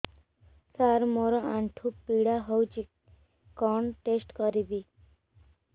ସାର ମୋର ଆଣ୍ଠୁ ପୀଡା ହଉଚି କଣ ଟେଷ୍ଟ କରିବି